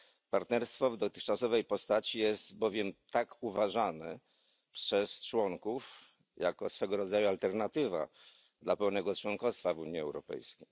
Partnerstwo w dotychczasowej postaci jest bowiem uważane przez członków jako swego rodzaju alternatywa dla pełnego członkostwa w Unii Europejskiej.